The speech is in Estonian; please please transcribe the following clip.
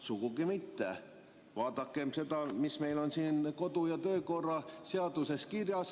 Sugugi mitte Vaadakem seda, mis on meil kodu‑ ja töökorra seaduses kirjas.